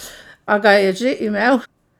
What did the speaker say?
A ga je že imel!